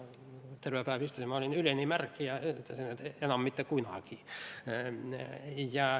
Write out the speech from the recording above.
Terve päeva istusin, ma olin üleni märg ja mõtlesin, et enam mitte kunagi.